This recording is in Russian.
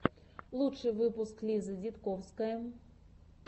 лучший выпуск лиза дидковская